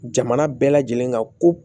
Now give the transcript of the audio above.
Jamana bɛɛ lajɛlen ka ko